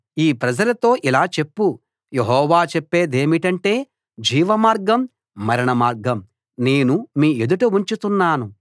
ఈ ప్రజలతో ఇలా చెప్పు యెహోవా చెప్పేదేమిటంటే జీవమార్గం మరణ మార్గం నేను మీ ఎదుట ఉంచుతున్నాను